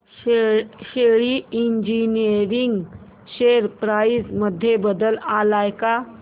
शेली engineering share price मध्ये बदल आलाय का